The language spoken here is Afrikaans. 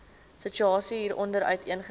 situasie hieronder uiteengesit